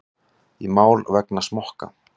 Í mál vegna smokka